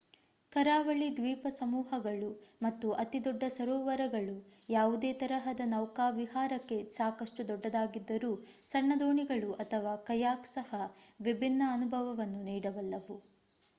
ಕರಾವಳಿ ದ್ವೀಪಸಮೂಹಗಳು ಮತ್ತು ಅತಿದೊಡ್ಡ ಸರೋವರಗಳು ಯಾವುದೇ ತರಹದ ನೌಕಾವಿಹಾರಕ್ಕೆ ಸಾಕಷ್ಟು ದೊಡ್ಡದಾಗಿದ್ದರೂ ಸಣ್ಣ ದೋಣಿಗಳು ಅಥವಾ ಕಯಾಕ್ ಸಹ ವಿಭಿನ್ನ ಅನುಭವವನ್ನು ನೀಡಬಲ್ಲವು